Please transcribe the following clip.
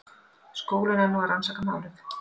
Skólinn er nú að rannsaka málið